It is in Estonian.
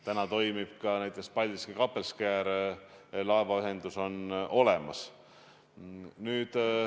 Täna toimib ka näiteks Paldiski-Kappelskäri laevaühendus, see on olemas.